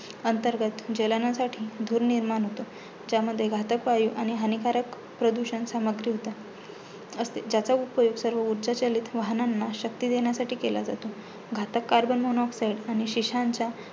अंतर्गत ज्वलांनासाठी धूर निर्माण होतो, ज्यामध्ये घातक वायू आणि हानिकारक प्रदूषण समाप्ती होते असते. ज्याचा उपयोग सर्व उर्जा चलीत वाहनांना शक्ती देण्यासाठी केला जातो. घातक आणि शिशांच्या